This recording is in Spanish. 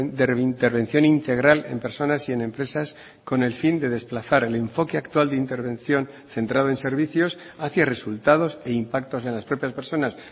de intervención integral en personas y en empresas con el fin de desplazar el enfoque actual de intervención centrado en servicios hacia resultados e impactos en las propias personas